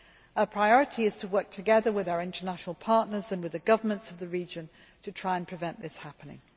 Our priority is to work together with our international partners and with the governments of the region to try and prevent this from happening.